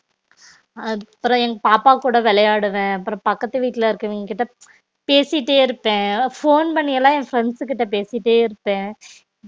அது அப்பரம் எங்க பாப்பா கூட விளையாடுவேன் அப்பறம் பக்கத்துக்கு வீட்டுல இருக்குறவங்க கிட்ட பேசிட்டே இருப்ப phone பண்ணிஎல்லாம் என் friends கிட்ட பேசிட்டே இருப்ப